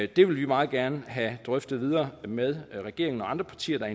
det vil vi meget gerne have drøftet videre med regeringen og andre partier der